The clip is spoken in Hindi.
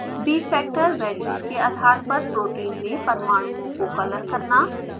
bfactor वैल्यूज़ के आधार पर प्रोटीन में परमाणुओं को कलर करना